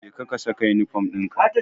Jeka ka saka yunifom dinka.